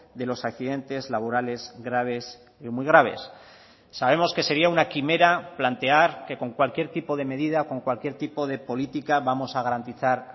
de los accidentes laborales graves y muy graves sabemos que sería una quimera plantear que con cualquier tipo de medida con cualquier tipo de política vamos a garantizar